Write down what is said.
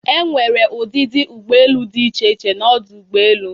Enwere ụdịdị ụgbọ elu dị iche iche n'ọdụ ụgbọ elu